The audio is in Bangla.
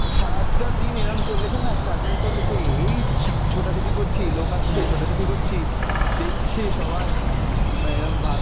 সারাটা দিন এরম চলেছেনা struggle চলেছে, এই ছো~ ছোটা-ছুটি করছি, লোক আসছে ছোটা-ছুটি করছি, দেখছে সবাই উম এরম ভা